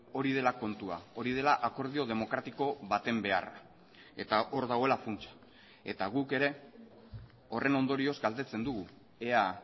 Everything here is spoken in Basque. hori dela kontua hori dela akordio demokratiko baten beharra eta hor dagoela funtsa eta guk ere horren ondorioz galdetzen dugu ea